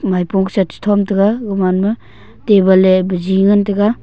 maipung sa che thon tega gaman ma table le baji ngan tega.